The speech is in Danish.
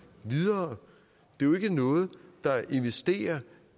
videre det er jo ikke noget der investerer